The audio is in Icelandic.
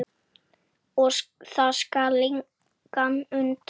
Og það skal engan undra.